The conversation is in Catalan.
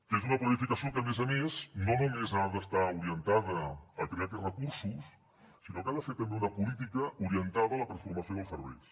que és una planificació que a més a més no només ha d’estar orientada a crear aquests recursos sinó que ha de ser també una política orientada a la transformació dels serveis